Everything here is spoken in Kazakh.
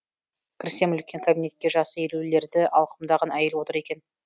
кірсем үлкен кабинетте жасы елулерді алқымдаған әйел отыр екен